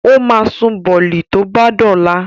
O ma sun bọ̀lì tó bá dọ̀la